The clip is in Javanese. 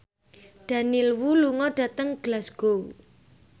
Daniel Wu lunga dhateng Glasgow